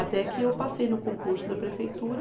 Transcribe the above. Até que eu passei no concurso da prefeitura.